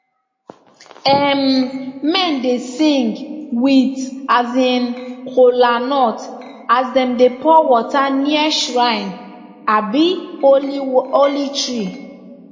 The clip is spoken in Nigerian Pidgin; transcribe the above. um men dey sing with um kolanut as dem dey pour water near shrine um holy um tree